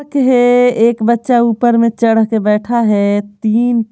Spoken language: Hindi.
है एक बच्चा ऊपर में चढ़ के बैठा है तीन--